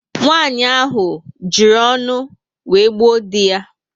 Nwanyị ahụ ji ọṅụ wéré gbuo dị ya